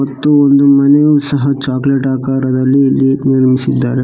ಮತ್ತು ಒಂದು ಮನೆಯು ಸಹ ಚಾಕ್ಲೇಟ್ ಆಕಾರದಲ್ಲಿ ಇಲ್ಲಿ ನಿರ್ಮಿಸಿದ್ದಾರೆ.